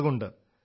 മുളകൊണ്ട്